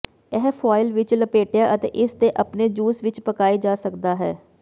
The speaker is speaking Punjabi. ਇਹ ਫੁਆਇਲ ਵਿੱਚ ਲਪੇਟਿਆ ਅਤੇ ਇਸ ਦੇ ਆਪਣੇ ਜੂਸ ਵਿੱਚ ਪਕਾਏ ਜਾ ਸਕਦਾ ਹੈ